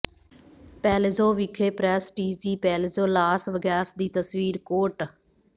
Palazzo ਵਿਖੇ prestige Palazzo Las Vegas ਦੀ ਤਸਵੀਰ ਕੋਰਟ